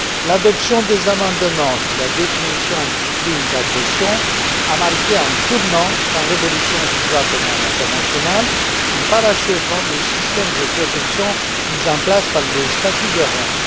L'adoption des amendements sur la définition du crime d'agression a marqué un tournant dans l'évolution du droit pénal international en parachevant le système de protection mis en place par le statut de Rome.